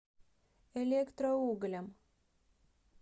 электроуглям